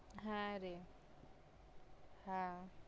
হ্যা রে হ্যা